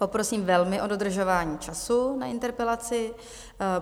Poprosím velmi o dodržování času na interpelaci.